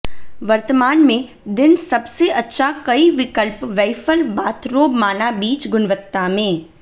वर्तमान में दिन सबसे अच्छा कई विकल्प वैफ़ल बाथरोब माना बीच गुणवत्ता में